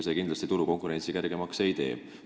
See kindlasti turukonkurentsi kergemaks ei muuda.